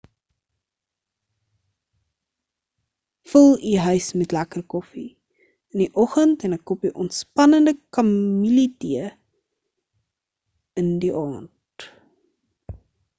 vul u huis met 'n lekker koffie in die oggend en 'n koppie ontspannende kamilletee in die aand